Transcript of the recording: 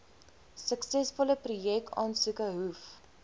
suksesvolle projekaansoeke hoef